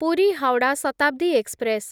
Puri Howrah Shatabdi express